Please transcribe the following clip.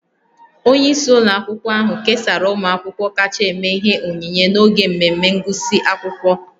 Onye isi ụlọ akwụkwọ ahụ kesara ụmụ akwụkwọ kacha eme ihe onyinye n'oge mmemme ngụsị akwụkwọ